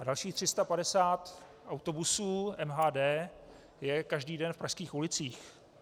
A dalších 350 autobusů MHD je každý den v pražských ulicích.